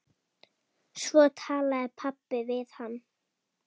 Svo talaði pabbi við hann.